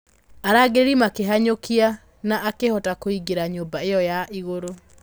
Arangĩri makĩmũhanyũkia, no akĩhota kũingĩra nyũmba ĩyo ya igũrũ.